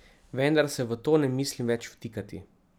Vendar se v to ne mislim več vtikati.